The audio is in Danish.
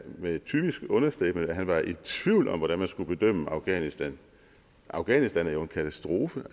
med et typisk understatement at han var i tvivl om hvordan man skulle bedømme afghanistan afghanistan er jo en katastrofe det